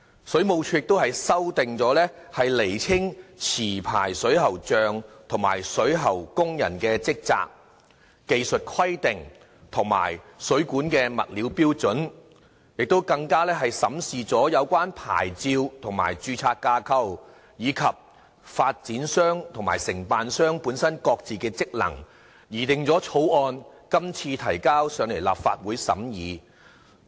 水務署亦修例以釐清持牌水喉匠及水喉工人的職責、技術規定及水管物料標準；審視有關牌照及註冊架構，以及發展商和承辦商本身各自的職能，擬定《條例草案》後提交立法會審議。